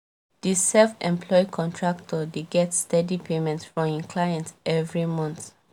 di self employed contractor dey get steady payment from im clients every month